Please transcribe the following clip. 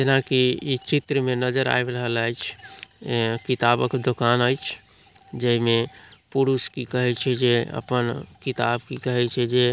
जैना की इ चित्र में नज़र आब रहल ऐछ इ किताबक दूकान ऐछ। जे मे पुरुष की कहे छै जे अपन किताब की कहे छै--